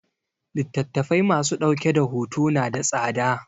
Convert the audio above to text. Littattafai ma su dauke da hoto na da tsada